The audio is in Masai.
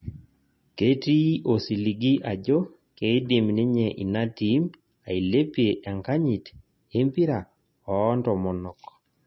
ketii osiligi ajo keidim ninye ina tim ailepie enkanyit empira oo ntomonok